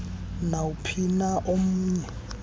nawuphi na omnye